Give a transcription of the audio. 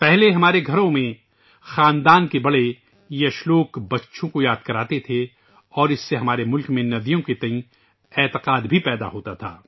پہلے ہمارے گھروں میں خاندان کے بزرگ اس شلوک کو بچوں کے لیے یاد کرواتے تھے اور اس سے ہمارے ملک میں نیدیوں کے تئیں یقین بھی پیدا ہوتا تھا